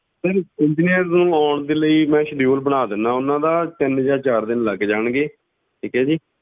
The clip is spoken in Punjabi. Sir engineers ਨੂੰ ਆਉਣ ਦੇ ਲਈ ਮੈਂ schedule ਬਣਾ ਦਿਨਾ ਉਹਨਾਂ ਦਾ, ਤਿੰਨ ਜਾਂ ਚਾਰ ਦਿਨ ਲੱਗ ਜਾਣਗੇ, ਠੀਕ ਹੈ ਜੀ।